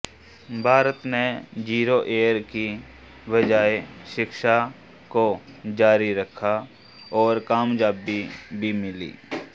भारत ने zero year की बजाय शिक्षा को जारी रखा और कामयाबी भी मिली